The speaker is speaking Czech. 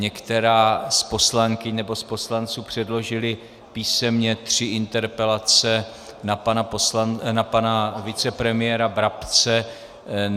Některá z poslankyň - nebo z poslanců - předložila písemně tři interpelace na pana vicepremiéra Brabce.